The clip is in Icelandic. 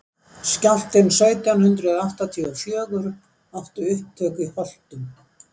skjálftinn sautján hundrað áttatíu og fjögur átti upptök í holtum